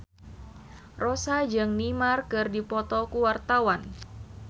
Rossa jeung Neymar keur dipoto ku wartawan